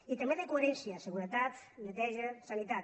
i també de coherència seguretat neteja sa·nitat